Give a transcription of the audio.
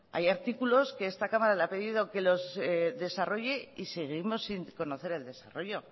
hay artículos que esta cámara le ha pedido que los desarrolle y seguimos sin conocer el desarrollo